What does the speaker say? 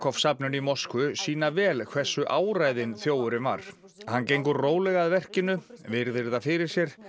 safninu í Moskvu sýna vel hversu áræðinn þjófurinn var hann gengur rólega að verkinu virðir það fyrir sér